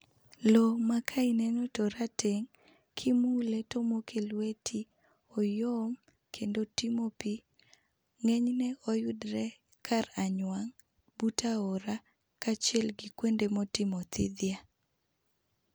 Lowo ma ka ineno to orateng', kimule tomoke lweti oyom kendo otimo pii .Ng'enyne oyudore kar anywang' but aora kaachiel gi kuonde motimo thidhia.